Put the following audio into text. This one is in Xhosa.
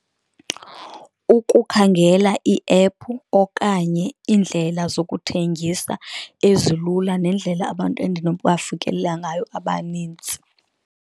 Ukukhangela iephu okanye iindlela zokuthengisa ezilula, nendlela abantu endinobafikelela ngayo abanintsi.